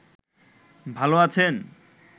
ভাল আছেন